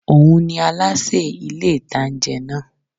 Óun ní alásè ní ilé-ìtánjẹ náà